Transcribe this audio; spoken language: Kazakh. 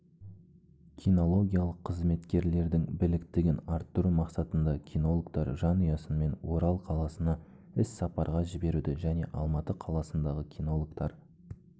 кинологиялық қызметкерлердің біліктілігін арттыру мақсатында кинологтар жанұясынмен орал қаласына іс-сапарға жіберуді және алматы қаласынадағы кинологтар